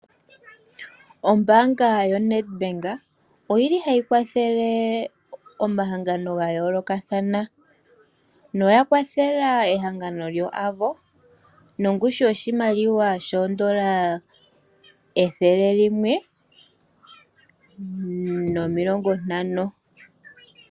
Ombaanga yoNEDBANK oyi li hayi kwathele omahangano ga yoolokathana noya kwathela ehangano lyoAVO nongushu yoshimaliwa shoondola ethele limwe nomilongo ntano.